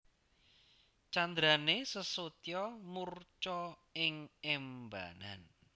Candrané Sesotya murca ing embanan